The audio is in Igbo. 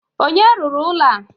Onye rụrụ ụlọ a?